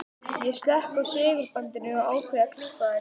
Ég slekk á segulbandinu og ákveð að klippa þær.